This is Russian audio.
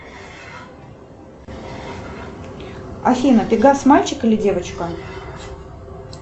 афина пегас мальчик или девочка